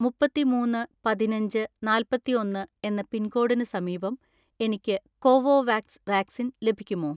മുപ്പത്തിമൂന്ന് പതിനഞ്ച് നാല്‍പത്തിഒന്ന് എന്ന പിൻകോഡിന് സമീപം എനിക്ക് കോവോവാക്സ് വാക്സിൻ ലഭിക്കുമോ?